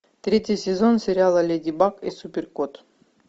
третий сезон сериала леди баг и суперкот